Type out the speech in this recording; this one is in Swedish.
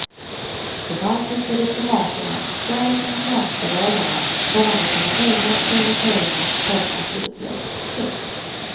De baltiska diplomaterna skall inom de närmaste dagarna komma med sina egna prioriteringar för akuthjälp. punkt